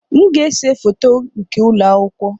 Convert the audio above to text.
M ga-ese foto nke ụlọ akwụkwọ.